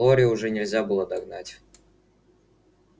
глорию уже нельзя было догнать